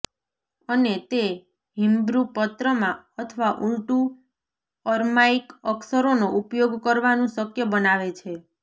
અને તે હિબ્રુ પત્રમાં અથવા ઊલટું અર્માઇક અક્ષરોનો ઉપયોગ કરવાનું શક્ય બનાવે છે